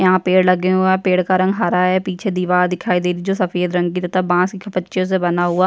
यहाँ पेड़ लगे हुए है पेड़ का रंग हरा है पीछे दिवार दिखाई दे रही जो सफ़ेद रंग की तथा बांस की पचि से बना हुआ --